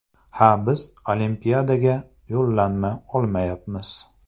Ha, biz Olimpiadaga yo‘llanma olmayapmiz.